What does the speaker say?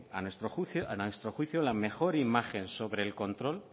a nuestro juicio la mejor imagen sobre el control